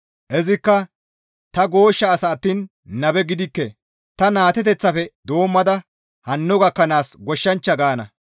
Izikka, ‹Ta gooshsha asa attiin nabe gidikke; ta naateteththafe doommada hanno gakkanaas goshshanchcha› gaana.